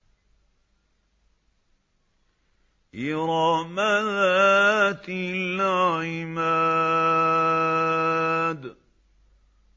إِرَمَ ذَاتِ الْعِمَادِ